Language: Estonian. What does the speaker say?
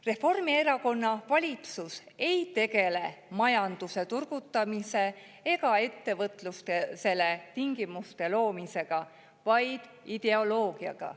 Reformierakonna valitsus ei tegele majanduse turgutamisega ega ettevõtlusele tingimuste loomisega, vaid ideoloogiaga.